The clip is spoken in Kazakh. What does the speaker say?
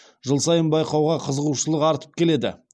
жыл сайын байқауға қызығушылық артып келеді